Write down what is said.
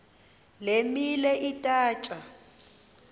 le milo ithatya